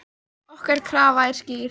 Okkar krafa er skýr.